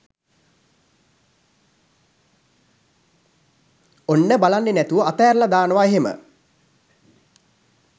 ඔන්න බලන්නෙ නැතුව අතෑරලා දානව එහෙම